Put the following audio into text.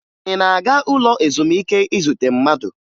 Ị na-aga ụlọ ezumike izute mmadụ?